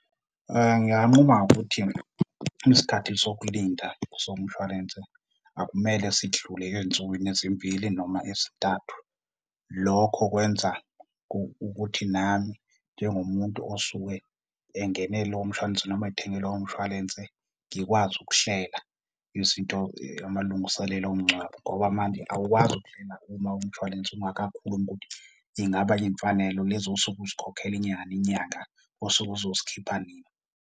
Nginganquma ngokuthi isikhathi sokulinda somshwalense akumele sidlule ey'nsukwini ezimbili noma ezintathu. Lokho kwenza ukuthi nami njengomuntu osuke engene lo mshwalense, noma ethenge loyo mshwalense ngikwazi ukuhlela izinto, amalungiselelo omngcwabo. Ngoba manje awukwazi ukuhlela uma umshwalense ungakakhulumi ukuthi ingabe iy'mfanelo lezi osuke uzikhokhela inyanga nenyanga usuke uzozikhipha nini.